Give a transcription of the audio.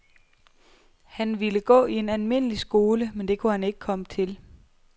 Han ville gå i en almindelig skole, men det kunne han ikke komme til.